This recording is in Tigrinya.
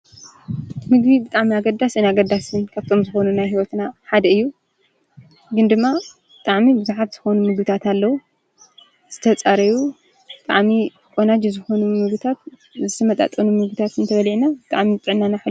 ምግቢ ብጣዕሚ ኣገዳስን ኣግዳስን ካብቶም ዝኮኑ ናይ ሂወትና ሓደ እዩ፤ ግን ድማ ብጣዕሚ ቡዙሓት ዝኮኑ ምግብታት ኣለዉ ።ዝተጻረዩ ብጣዕሚ ቆናጁ ዝኾኑ ምግብታት ዝተመጣጠኑ ምግብታት እንተበሊዕና ብጣዕሚ ጥዕናና ሕሉው።